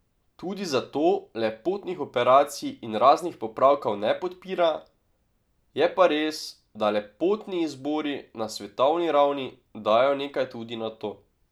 Tudi zato lepotnih operacij in raznih popravkov ne podpira, je pa res, da lepotni izbori na svetovni ravni dajo nekaj tudi na to.